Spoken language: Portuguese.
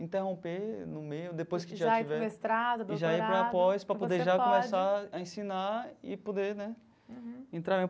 Interromper no meio, depois que já tiver... Já ir para o mestrado, doutorado... E já ir para a pós, para poder já começar a ensinar e poder, né? Entrar.